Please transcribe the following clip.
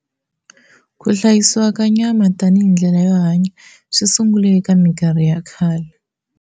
Ku hlayisiwa ka nyama tani hindlela yo hanya swisungule eka minkarhi ya khale.